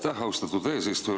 Aitäh, austatud eesistuja!